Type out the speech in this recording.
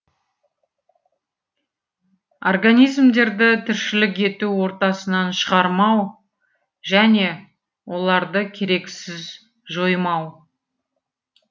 организмдерді тіршілік ету ортасынан шығармау және оларды керексіз жоймау